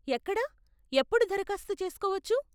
ఎక్కడ, ఎప్పుడు దరఖాస్తు చేసుకోవచ్చు?